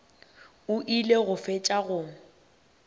o ile go fetša go